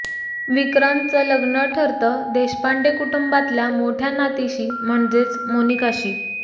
विक्रांतचं लग्न ठरतं देशपांडे कुटुंबातल्या मोठ्या नातीशी म्हणजेच मोनिकाशी